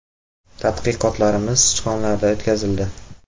Tadqiqotlarimiz sichqonlarda o‘tkazildi.